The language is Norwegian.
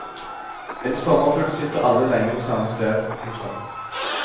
En sommerfugl sitter aldri lenge på samme sted. punktum